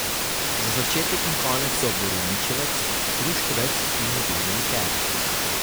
Za začetek in konec so borovničevec, hruškovec in medeni liker.